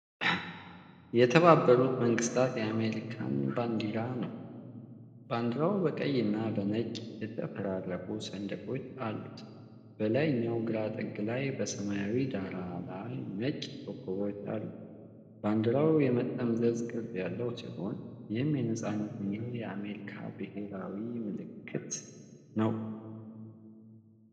የተባበሩት መንግስታት የአሜሪካን ባንዲራ ነው። ባንዲራው በቀይና በነጭ የተፈራረቁ ሰንደቆች አሉት። በላይኛው ግራ ጥግ ላይ በሰማያዊ ዳራ ላይ ነጭ ኮከቦች አሉ። ባንዲራው የመጠምዘዝ ቅርፅ ያለው ሲሆን፣ ይህም የነፃነትና የአሜሪካ ብሔራዊ ምልክት ነው።